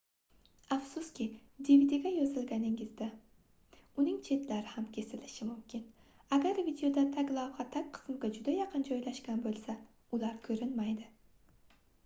afsuski dvdga yozganingizda uning chetlari ham kesilishi mumkin agar videoda taglavha tag qismga juda yaqin joylashgan boʻlsa ular koʻrinmaydi